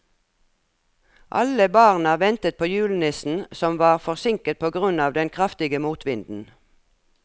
Alle barna ventet på julenissen, som var forsinket på grunn av den kraftige motvinden.